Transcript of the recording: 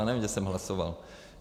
Já nevím, že jsem hlasoval.